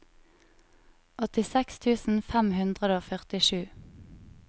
åttiseks tusen fem hundre og førtisju